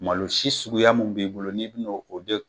Malo si suguya mun b'i bolo ni bina o don